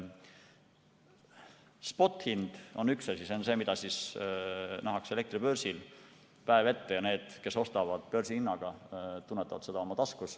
Spothind on üks asi, see on see, mida nähakse elektribörsil päev ette, ja need, kes ostavad börsihinnaga, tunnetavad seda oma taskus.